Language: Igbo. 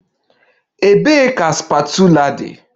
Ebee ka spatula dị?